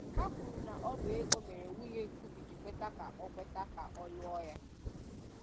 Ha kwuru na ọ bụ ego mere nwunye Nkubi ji kweta ka ọ kweta ka ọ lụọ ya